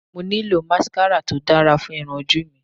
Mo nílò máskárà to dára fún irun ojú mi